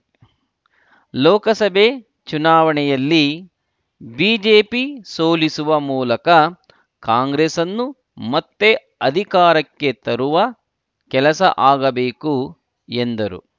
ಲೋಕಸಭೆ ಚುನಾವಣೆಯಲ್ಲಿ ಬಿಜೆಪಿ ಸೋಲಿಸುವ ಮೂಲಕ ಕಾಂಗ್ರೆಸ್‌ನ್ನು ಮತ್ತೆ ಅಧಿಕಾರಕ್ಕೆ ತರುವ ಕೆಲಸ ಆಗಬೇಕು ಎಂದರು